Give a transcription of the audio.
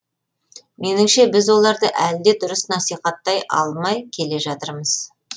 меніңше біз оларды әлі де дұрыс насихаттай алмай келе жатырмыз